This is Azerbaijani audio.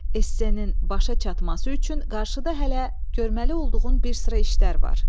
Essenin başa çatması üçün qarşıda hələ görməli olduğun bir sıra işlər var.